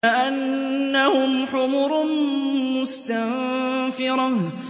كَأَنَّهُمْ حُمُرٌ مُّسْتَنفِرَةٌ